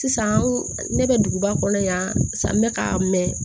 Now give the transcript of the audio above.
Sisan ne bɛ duguba kɔnɔ yan sa n bɛ ka mɛn